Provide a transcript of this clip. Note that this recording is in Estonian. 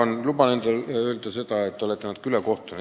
Ma luban endale öelda seda, et te olete natuke ülekohtune.